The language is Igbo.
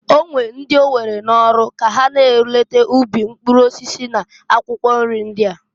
O nwere ndị owere n'ọlụ ka ha na-eleta ubi mpkụrụ osisi na akwụkwọ nri ndia.